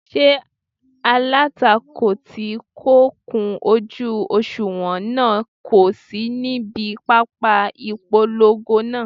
Ṣé alátakò tí kò kún ojú òṣùwọ̀n náà kò sí níbi pápá ìpolongo náà?